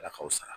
Ala ka fisa